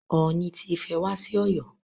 Ooni ti Ifẹ̀ wá sí Ọ̀yọ́.